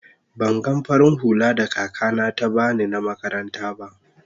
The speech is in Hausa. ban gan farin hulla da kaka na ta bani na makaranta ba.